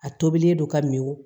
A tobilen don ka mi